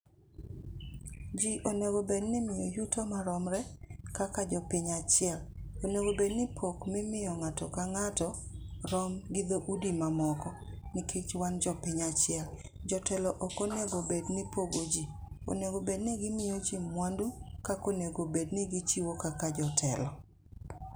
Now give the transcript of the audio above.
Ji onego bed ni imiyo yuto maromre kaka jo piny achiel. Onego bed ni pok mimiyo ng'ato ka ng'ato rom gi dho udi ma moko nikech wan jo piny achiel. Jotelo ok onego bed ni pogo ji. Onego bed ni gimiyo ji mwandu kaka onego bed ni gichiwo kaka jotelo.